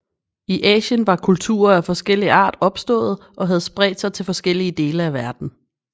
I Asien var kulturer af forskellig art opståede og havde spredt sig til forskellige dele af verden